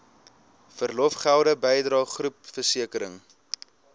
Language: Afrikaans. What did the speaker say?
verlofgelde bydrae groepversekering